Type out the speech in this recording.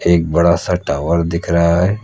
एक बड़ा सा टावर दिख रहा है।